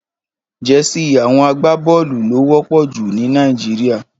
Jèsí áwòn àgbábòlú ló wòpò jú ni Nàijiriá